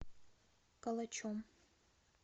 калачом